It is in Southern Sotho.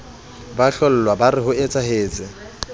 ba hlollwa ba re hoetsahetse